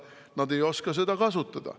Nad ei oska seda kasutada.